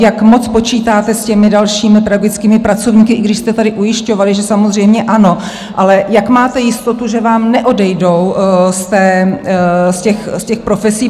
Jak moc počítáte s těmi dalšími pedagogickými pracovníky, i když jste tady ujišťovali, že samozřejmě ano, ale jak máte jistotu, že vám neodejdou z těch profesí?